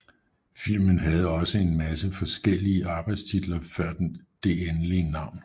Filmen havde også en masse forskeliige arbejdestitler før det endelige navn